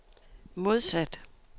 modsat